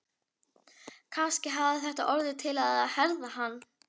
Kannski hafði þetta orðið til að herða hann.